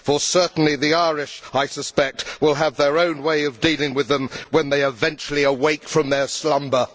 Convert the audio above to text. For certain the Irish, I suspect, will have their own way of dealing with them when they eventually awake from their slumber.